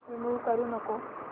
remove करू नको